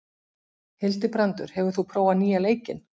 Hildibrandur, hefur þú prófað nýja leikinn?